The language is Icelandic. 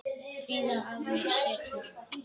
Kvíða að mér setur.